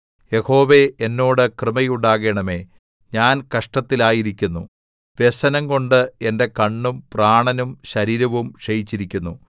യഹോവേ എന്നോട് കൃപയുണ്ടാകണമേ ഞാൻ കഷ്ടത്തിലായിരിക്കുന്നു വ്യസനംകൊണ്ട് എന്റെ കണ്ണും പ്രാണനും ശരീരവും ക്ഷയിച്ചിരിക്കുന്നു